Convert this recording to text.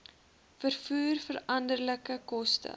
vervoer veranderlike koste